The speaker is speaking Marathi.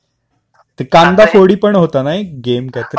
ते कांदा फोडी पण होतं ना एक गेम काहीतरी?